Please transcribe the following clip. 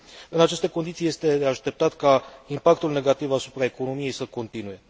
În aceste condiții este de așteptat ca impactul negativ asupra economiei să continue.